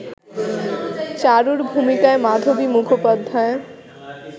চারুর ভূমিকায় মাধবী মুখোপাধ্যায়